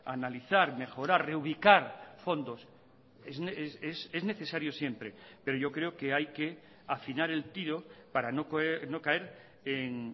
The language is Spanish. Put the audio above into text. analizar mejorar reubicar fondos es necesario siempre pero yo creo que hay que afinar el tiro para no caer en